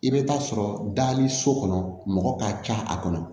I bɛ taa sɔrɔ daani so kɔnɔ mɔgɔ ka ca a kɔnɔ